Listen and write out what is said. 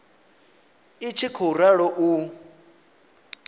i tshi khou ralo u